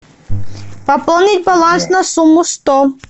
пополнить баланс на сумму сто